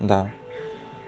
да